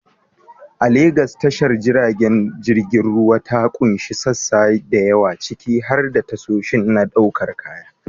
A Legas, tashar jiragen ruwa ta ƙunshi sassa da yawa, ciki har da tashoshi na ɗaukar kaya.